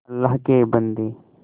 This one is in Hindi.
अल्लाह के बन्दे